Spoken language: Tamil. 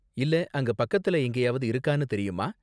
இல்ல அங்க பக்கத்துல எங்கேயாவது இருக்கானு தெரியுமா?